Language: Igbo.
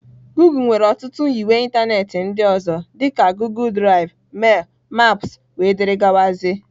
Goọgle nwere ọtụtụ nyiwe ịntanetị ndị ọzọ dị ka Goọgle Drive, mail, maps wdg.